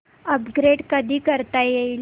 upgrade कधी करता येईल